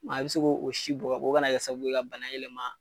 i be se k'o si bɔn o ka na kɛ sababu ye ka bana yɛlɛma